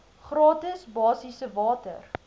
gratis basiese water